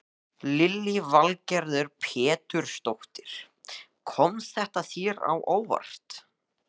Lillý Valgerður Pétursdóttir: Kom þetta þér á óvart?